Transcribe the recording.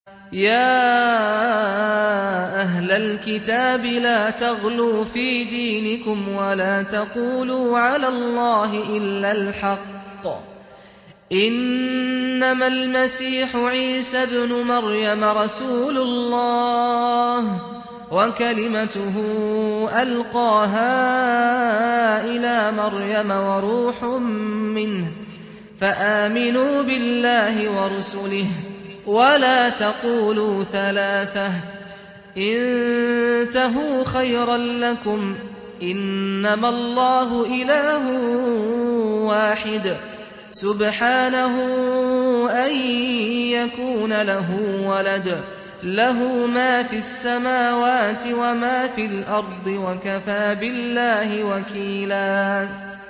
يَا أَهْلَ الْكِتَابِ لَا تَغْلُوا فِي دِينِكُمْ وَلَا تَقُولُوا عَلَى اللَّهِ إِلَّا الْحَقَّ ۚ إِنَّمَا الْمَسِيحُ عِيسَى ابْنُ مَرْيَمَ رَسُولُ اللَّهِ وَكَلِمَتُهُ أَلْقَاهَا إِلَىٰ مَرْيَمَ وَرُوحٌ مِّنْهُ ۖ فَآمِنُوا بِاللَّهِ وَرُسُلِهِ ۖ وَلَا تَقُولُوا ثَلَاثَةٌ ۚ انتَهُوا خَيْرًا لَّكُمْ ۚ إِنَّمَا اللَّهُ إِلَٰهٌ وَاحِدٌ ۖ سُبْحَانَهُ أَن يَكُونَ لَهُ وَلَدٌ ۘ لَّهُ مَا فِي السَّمَاوَاتِ وَمَا فِي الْأَرْضِ ۗ وَكَفَىٰ بِاللَّهِ وَكِيلًا